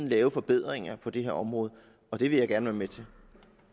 lave forbedringer på det her område og det vil jeg gerne være med til